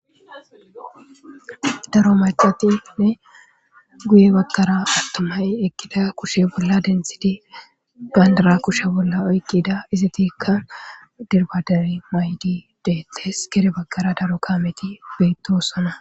daro macatinne guye baggara attomay ekkida kushe bolla dentshidi bandara kushe bolla oyqqida izatikka dirbadari maydi deettes kere baggara daro kaameti bettosana